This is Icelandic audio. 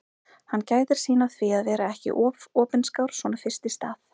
Hann gætir sín á því að vera ekki of opinskár svona fyrst í stað.